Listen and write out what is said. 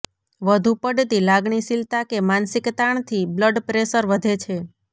વધુ પડતી લાગણીશીલતા કે માનસિક તાણથી બ્લડપ્રેશર વધે છે